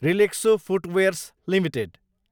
Relaxo footwears Ltd